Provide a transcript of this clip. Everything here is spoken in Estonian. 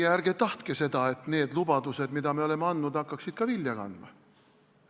Te ärge tahtke seda, et need lubadused, mida me oleme andnud, hakkaksid ka vilja kandma!